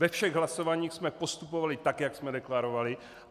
Ve všech hlasováních jsme postupovali tak, jak jsme deklarovali.